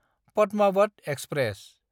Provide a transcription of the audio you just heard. Padmaavat express